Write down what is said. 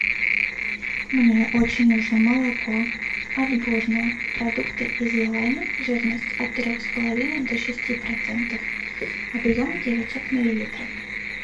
мне очень нужно молоко отборное продукты из елани жирность от трех с половиной до шести процентов объем девятьсот миллилитров